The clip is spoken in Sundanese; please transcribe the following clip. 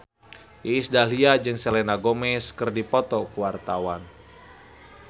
Iis Dahlia jeung Selena Gomez keur dipoto ku wartawan